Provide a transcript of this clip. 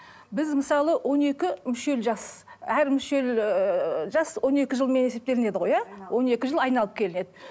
біз мысалы он екі мүшел жас әр мүшел ыыы жас он екі жылмен есептелінеді ғой иә он екі жыл айналып келеді